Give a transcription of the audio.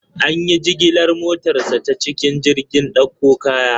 An yi jigilar motarsa ​​ta cikin jirgin dakon kaya.